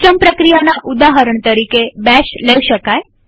system પ્રક્રિયાના ઉદાહરણ તરીકે બેશ લઇ શકાય